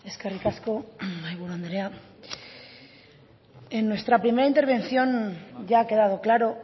eskerrik asko mahaiburu andrea en nuestra primera intervención ya ha quedado claro